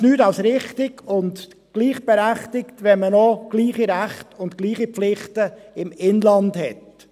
Es ist nichts als richtig und gerecht, wenn man die gleichen Rechte und Pflichten im Inland hat.